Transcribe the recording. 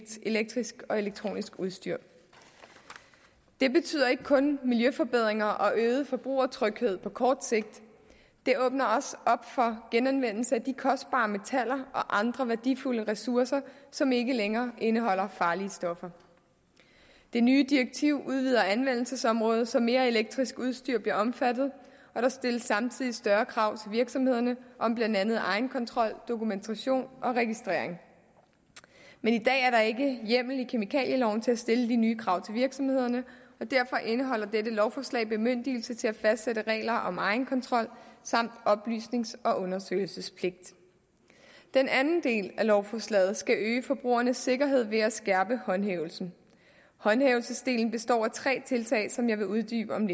elektrisk og elektronisk udstyr det betyder ikke kun miljøforbedringer og øget forbrugertryghed på kort sigt det åbner også op for genanvendelse af de kostbare metaller og andre værdifulde ressourcer som ikke længere indeholder farlige stoffer det nye direktiv udvider anvendelsesområdet så mere elektrisk udstyr bliver omfattet og der stilles samtidig større krav til virksomhederne om blandt andet egenkontrol dokumentation og registrering i dag er der ikke hjemmel i kemikalieloven til at stille de nye krav til virksomhederne og derfor indeholder dette lovforslag bemyndigelse til at fastsætte regler om egenkontrol samt oplysnings og undersøgelsespligt den anden del af lovforslaget skal øge forbrugernes sikkerhed ved at skærpe håndhævelsen håndhævelsesdelen består af tre tiltag som jeg vil uddybe om